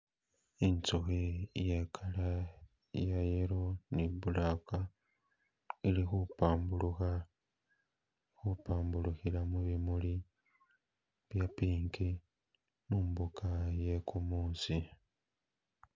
Inzukhi iye colour iya yellow ni black ili khubambulukha, khupambulukhila mubimuli bya pink mumbuga yegumusi.